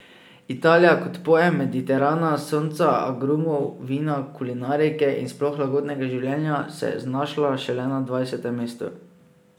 Italija kot pojem Mediterana, sonca, agrumov, vina, kulinarike in sploh lagodnega življenja, se je znašla šele na dvajsetem mestu.